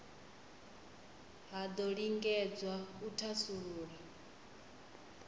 ha do lingedzwa u thasulula